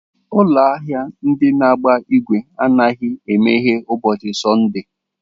Ụlọ ahịa ndị na-agba igwe anaghị emeghe ụbọchị Sọnde.